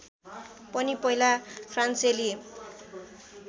पनि पहिला फ्रान्सेली